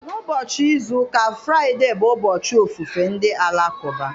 Ná ụbọchị izu ụka Fraide bụ ụbọchị ofufe ndị Alakụba.